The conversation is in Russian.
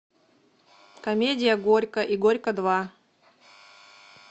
комедия горько и горько два